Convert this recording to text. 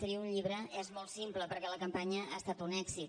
tria un llibre és molt simple perquè la campanya ha estat un èxit